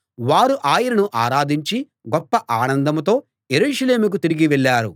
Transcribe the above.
వారు ఆయనను ఆరాధించి గొప్ప ఆనందంతో యెరూషలేముకు తిరిగి వెళ్ళారు